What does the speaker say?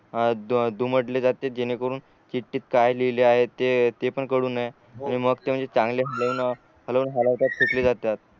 आ दु दुमटले जाते जेणेकरून चिट्टीत काय लिहिले आहेत ते ते पण कडू नये मग ते म्हणजे चांगल्या घेऊन हलऊन हलवतात फेकली जातात